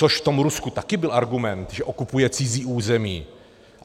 Což v tom Rusku byl taky argument, že okupuje cizí území.